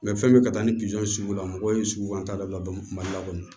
fɛn bɛɛ ka taa ni pizɔn sugu la mɔgɔw ye suguko an t'a la mali la kɔni